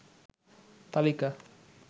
তালিকা